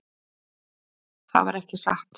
Það var ekki satt.